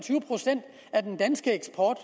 er den danske eksport